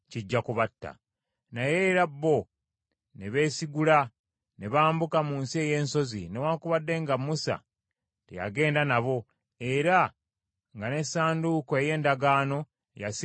Naye era bo ne beesigula ne bambuka mu nsi ey’ensozi, newaakubadde nga Musa teyagenda nabo era nga n’essanduuko ey’endagaano yasigala mu lusiisira.